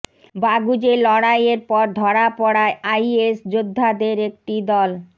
Baghuz লড়াইয়ের পর ধরা পড়া আইএস যোদ্ধাদের একটি দল